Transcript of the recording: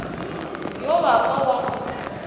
yo wa ka wa go